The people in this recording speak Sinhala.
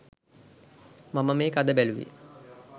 මම මේක අද බැලුවේ.